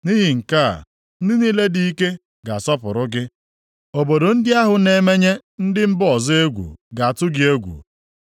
Nʼihi nke a, ndị niile dị ike ga-asọpụrụ gị. Obodo ndị ahụ na-emenye ndị mba ọzọ egwu ga-atụ gị egwu.